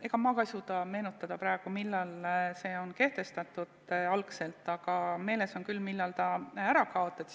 Ega ma ka ei suuda meenutada praegu, millal see algselt kehtestati, aga meeles on küll, millal see ära kaotati.